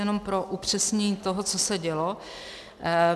Jenom pro upřesnění toho, co se dělo.